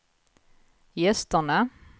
gästerna